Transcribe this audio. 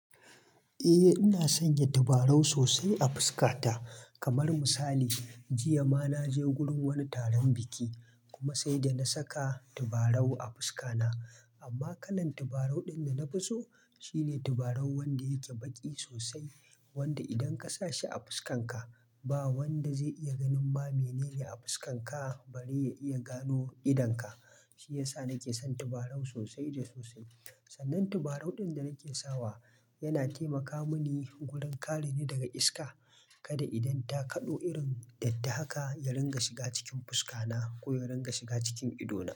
Eh ina sanya tabarau sosai a fuskata. Kamar misali, jiya ma naje wurin wani taron biki kuma sai da na saka tabarau a fuska na. Amma kalan tabarau ɗin da na fi so shine tabarau wanda yake baki sosai, wanda idan ka sa shi a fuskan ka ba wanda zai iya ganin ma mene ne a fuskan ka bari ya iya gano idan ka. Shi ya sa nake son tabarau sosai da sosai. Sannan tabarau ɗin da nake sawa yana taimaka mini gurin ƙari ne daga iska. Kada idan ta kaɗo irin datta haka ya ringa shiga cikin fuska na ko ya ringa shiga cikin ido na.